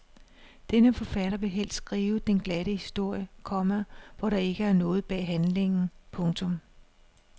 Denne forfatter vil helst skrive den glatte historie, komma hvor der ikke er noget bag handlingen. punktum